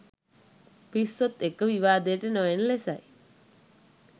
පිස්සොත් එක්ක විවාදයට නොයන ලෙසයි.